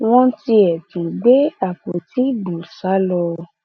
ó lóun àtàwọn èèyàn òun kò ní ibi táwọn ń lọ ní tàwọn ará nàìjíríà yìí làwọn fẹẹ wà